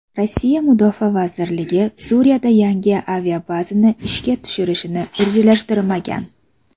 Rossiya mudofaa vazirligi Suriyada yangi aviabazani ishga tushirishni rejalashtirmagan.